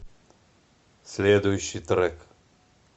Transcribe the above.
следующий трек